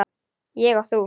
Ég og þú.